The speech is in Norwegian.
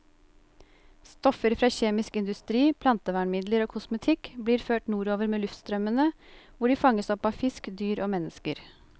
Stoffer fra kjemisk industri, plantevernmidler og kosmetikk blir ført nordover med luftstrømmene, hvor de fanges opp av fisk, dyr og mennesker.